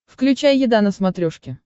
включай еда на смотрешке